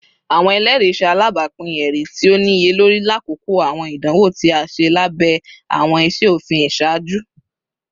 Awọn ẹlẹri ṣe alabapin ẹri ti o niyelori lakoko awọn idanwo ti a ṣe labẹ awọn iṣe ofin iṣaaju